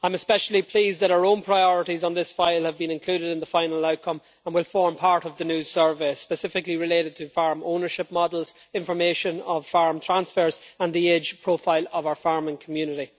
I am especially pleased that our own priorities have been included in the final outcome, and will form part of the new service, specifically in relation to farm ownership models, information on farm transfers and the age profile of our farming community.